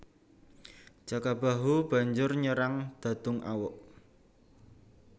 Jaka Bahu banjur nyerang Dadungawuk